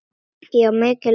Já, mikil ósköp.